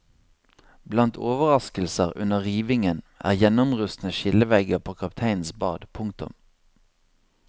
Blant overraskelser under rivingen er gjennomrustne skillevegger på kapteinens bad. punktum